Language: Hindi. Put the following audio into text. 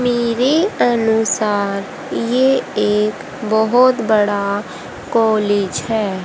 मेरे अनुसार ये एक बहुत बड़ा कॉलेज है।